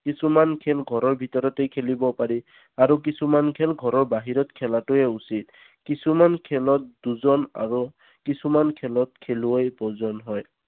কিছুমান খেল ঘৰৰ ভিতৰতে খেলিব পাৰি আৰু কিছুমান খেল ঘৰৰ বাহিৰতে খেলা উচিত। কিছুমান খেলত দুজন আৰু কিছুমান খেলত খেলুৱৈ প্ৰয়োজন হয়